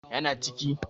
Ya na ciki.